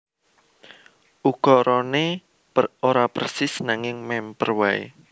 Ukarané ora persis nanging mèmper waé